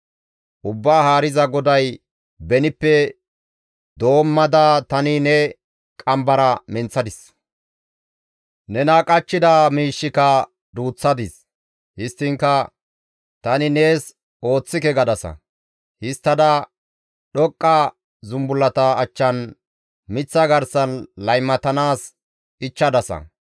Ubbaa Haariza GODAY, «Benippe doommada tani ne qambara menththadis; nena qachchida miishshika duuththadis. Histtiinkka, ‹Tani nees ooththike› gadasa. Histtada dhoqqa zumbullata achchan miththa garsan laymatanaas ichchadasa.